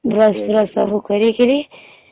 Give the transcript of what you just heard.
Brush brush ସବୁ କରିକିରୀ